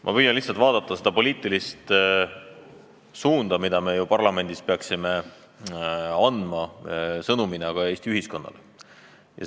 Ma püüan lihtsalt analüüsida seda poliitilist sõnumit, mille me parlamendis peaksime Eesti ühiskonnale andma.